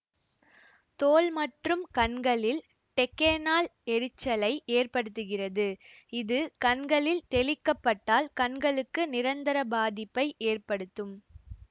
தோல் மற்றும் கண்களில் டெக்கேனால் எரிச்சலை ஏற்படுத்துகிறது இது கண்களில் தெளிக்கப்பட்டால் கண்களுக்கு நிரந்தர பாதிப்பை ஏற்படுத்தும்